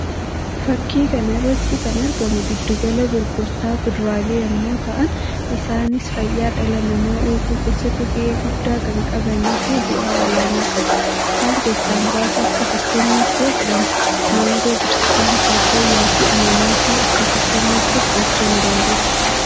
Fakkii kana irratti kan argamu giddu gala gurgurtaa kuduraalee yammuu ta'an; isaannis fayyaa dhala namaa eeguu kéessatti ga'ee guddaa kan qabanii fi bu'aa ol'aanaa qabu. Isaan keessaa muraasa akka fakkeenyaatti yoo fudhanne maangoo, burtukaanaa, paappayyaa fi anaanaasii akka fakkeenyaatti fudhachuu ni dandeenya.